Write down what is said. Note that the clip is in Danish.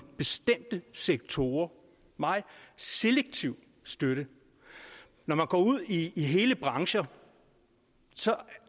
bestemte sektorer meget selektiv støtte når man går ud i i hele brancher